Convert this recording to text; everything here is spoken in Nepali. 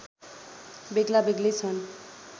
बेग्लाबेग्लै छन्